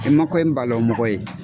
I man balɔwu mɔgɔ ye.